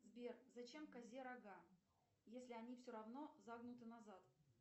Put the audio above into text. сбер зачем козе рога если они все равно загнуты назад